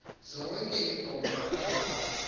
zonke iinkomo amalawu